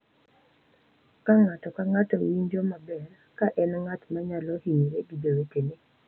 Ka ng’ato ka ng’ato winjo maber ka en ng’at ma nyalo hinyre gi jowetene.